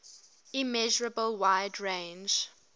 immeasurable wide range